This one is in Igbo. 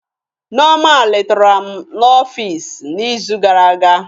Nneoma letara m n'ọfịs m n'izu gara aga.